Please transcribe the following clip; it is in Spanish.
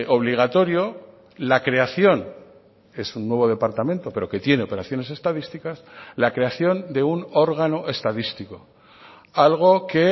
obligatorio la creación es un nuevo departamento pero que tiene operaciones estadísticas la creación de un órgano estadístico algo que